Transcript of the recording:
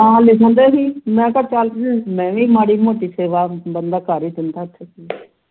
ਨਾ ਲਿਖਣ ਡਏ ਸੀ ਮੈਂ ਕਿਹਾ ਚੱਲ ਮੈਂ ਵੀ ਮਾੜੀ ਮੋਟੀ ਦੇਵਾ ਬੰਦਾ ਕਰ ਹੀ ਦਿੰਦਾ ਉਥੇ